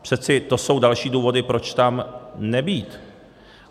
Přece to jsou další důvody, proč tam nebýt.